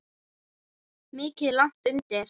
Mikið er lagt undir.